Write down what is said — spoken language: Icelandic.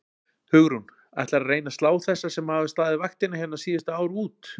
Hugrún: Ætlarðu að reyna að slá þessa sem hafa staðið vaktina hérna síðustu ár út?